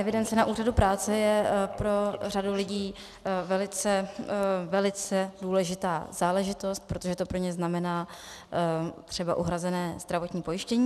Evidence na úřadu práce je pro řadu lidí velice důležitá záležitost, protože to pro ně znamená třeba uhrazené zdravotní pojištění.